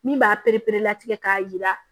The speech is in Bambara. Min b'a pereperelatigɛ k'a jira